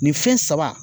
Nin fɛn saba